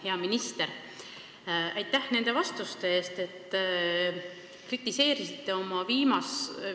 Hea minister, aitäh nende vastuste eest!